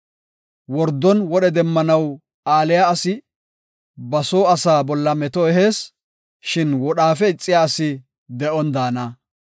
Wordon wodhe demmanaw aaliya asi ba soo asaa bolla meto ehees; shin wodhaafe ixiya asi de7on daana.